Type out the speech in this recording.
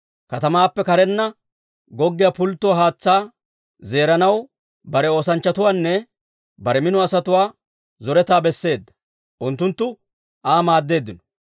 katamaappe karenna goggiyaa pulttuwaa haatsaa zeeranaw bare oosanchchatuwaanne bare mino asatuwaa zoretaa besseedda; Unttunttu Aa maaddeeddino.